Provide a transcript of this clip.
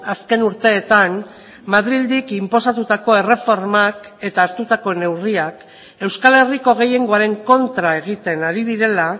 azken urteetan madrildik inposatutako erreformak eta hartutako neurriak euskal herriko gehiengoaren kontra egiten ari direla